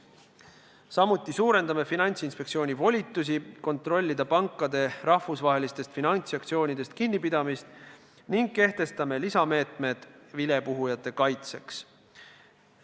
Samuti suurendame Finantsinspektsiooni volitusi kontrollida pankade rahvusvahelistest finantsaktsioonidest kinnipidamist ning kehtestame lisameetmed vilepuhujate kaitseks.